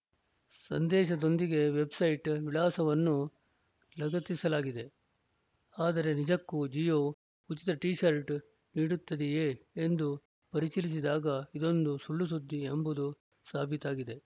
ಸಂದೇಶದೊಂದಿಗೆ website ವಿಳಾಸವನ್ನೂ ಲಗತ್ತಿಸಲಾಗಿದೆ ಆದರೆ ನಿಜಕ್ಕೂ ಜಿಯೋ ಉಚಿತ ಟಿಶರ್ಟ್‌ ನೀಡುತ್ತಿದೆಯೇ ಎಂದು ಪರಿಶೀಲಿಸಿದಾಗ ಇದೊಂದು ಸುಳ್ಳುಸುದ್ದಿ ಎಂಬುದು ಸಾಬೀತಾಗಿದೆ